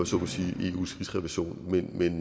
så må sige eus rigsrevision men